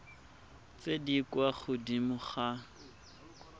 tse di kwa godimo ga